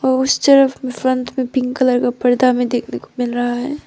Poster front में pink colour का पर्दा हमे देखने को मिल रहा है।